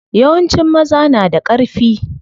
Yawancin maza na da ƙarfi.